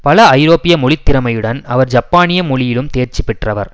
பல ஐரோப்பிய மொழி திறமையுடன் அவர் ஜப்பானிய மொழியிலும் தேர்ச்சி பெற்றவர்